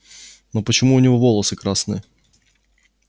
но почему у него волосы красные